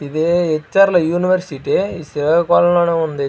ఇది హెర్లో యూనివర్సిటీ ఇది శ్రీకాకుళం ఉంది.